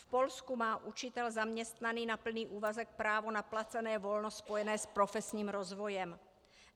V Polsku má učitel zaměstnaný na plný úvazek právo na placené volno spojené s profesním rozvojem.